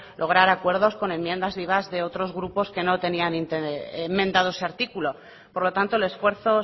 lograr acuerdos con enmiendas vivas con otros grupos que no tenían enmendado ese artículo por lo tanto el esfuerzo